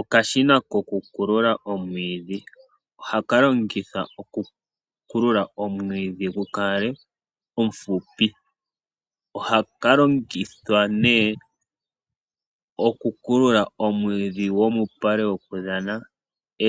Okashina kokukulula omwiidhi. Ohaka longithwa okukulula omwiidhi gu kale omufupi. Ohaka longithwa nee okukulula omwiidhi gwomuupale wokudhana